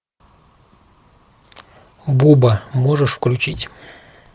буба можешь включить